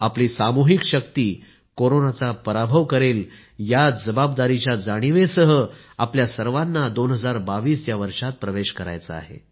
आपली सामूहिक शक्ती कोरोनाचा पराभव करेल याच जबाबदारीच्या जाणिवेसह आपल्या सर्वांना 2022 या वर्षात प्रवेश करायचा आहे